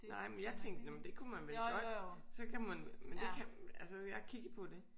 Nej men jeg tænkte nåh men det kunne man vel godt så kan man men det kan altså jeg har kigget på det